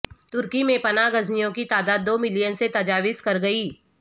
ترکی میں پنا گزینوں کی تعداد دو ملین سے تجاوز کرگئی